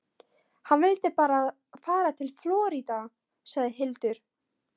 Hann vildi fara til Flórída, sagði Hildur.